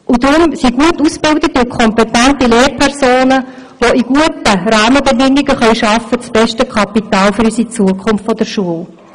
Deshalb sind gut ausgebildete und kompetente Lehrpersonen, die unter guten Rahmenbedingungen arbeiten können, das beste Kapital für die Zukunft unserer Schule.